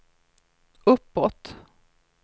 uppåt